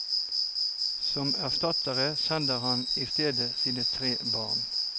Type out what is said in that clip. Som erstattere sender han i stedet sine tre barn.